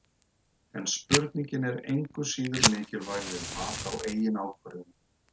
En spurningin er engu síður mikilvæg við mat á eigin ákvörðunum.